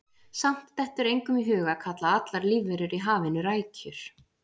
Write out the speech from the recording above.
Samt dettur engum í hug að kalla allar lífverur í hafinu rækjur.